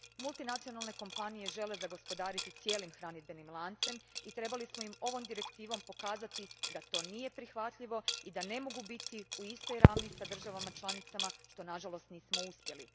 Multinacionalne kompanije žele zagospodariti cijelim hranidbenim lancem i trebali smo im ovom direktivom pokazati da to nije prihvatljivo i da ne mogu biti u istoj ravni s državama članicama, što nažalost nismo uspjeli.